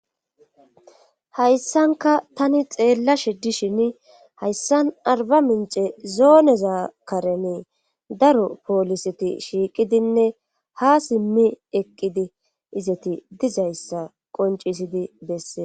Hayssanka tani xeella she dishin hayssan arba mince zooneza karene daro pooliseti shiiqidinne ha simmi eqqidi izati dizayssa qoncisidi bessee